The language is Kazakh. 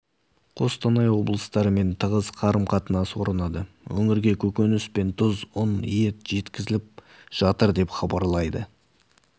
қостанай облыстарымен тығыз қарым-қатынас орнады өңірге көкөніс пен тұз ұн ет жеткізіліп жатыр деп хабарлайды